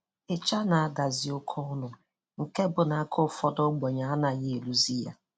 Isha na-adazị oke ọnụ nke bụ na aka ụfọdụ ogbenye anayi eruzi ya.